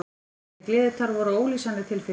Þessi gleðitár voru ólýsanleg tilfinning.